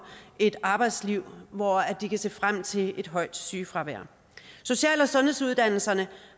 et arbejdsliv hvor de kan se frem til et højt sygefravær social og sundhedsuddannelserne